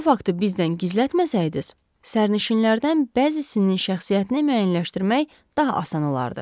Bu faktı bizdən gizlətməsəydiz, sərnişinlərdən bəzisinin şəxsiyyətini müəyyənləşdirmək daha asan olardı.